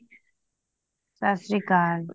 ਸਤਿ ਸ਼੍ਰੀ ਅਕਾਲ